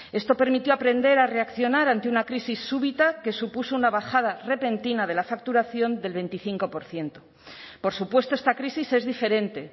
esto permitió aprender a reaccionar ante una crisis súbita que supuso una bajada repentina de la facturación del veinticinco por ciento por supuesto esta crisis es diferente